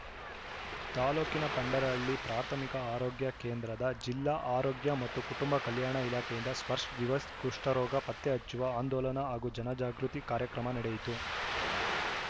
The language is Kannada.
ತಾಲೂಕಿನ ಪಂಡರಹಳ್ಳಿ ಪ್ರಾಥಮಿಕ ಆರೋಗ್ಯ ಕೇಂದ್ರದ ಜಿಲ್ಲಾ ಆರೋಗ್ಯ ಮತ್ತು ಕುಟುಂಬ ಕಲ್ಯಾಣ ಇಲಾಖೆಯಿಂದ ಸ್ವರ್ಶ ದಿವಸ್‌ ಕುಷ್ಠರೋಗ ಪತ್ತೆ ಹಚ್ಚುವ ಆಂದೋಲನ ಹಾಗೂ ಜನ ಜಾಗೃತಿ ಕಾರ್ಯಕ್ರಮ ನಡೆಯಿತು